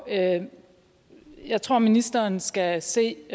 jeg tror ministeren skal se